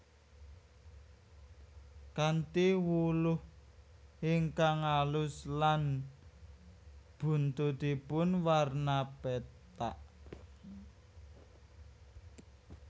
Kanthi wulu ingkang alus lan buntutipun warna pethak